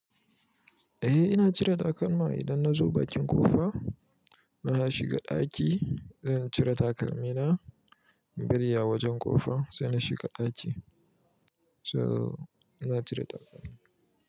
Eh ina cire takalma idan na zo bakin ƙofa na shiga ɗaki, zan cire takalmina, biri ya wajen ƙofa sai na shiga ɗaki. So ina cire takalma.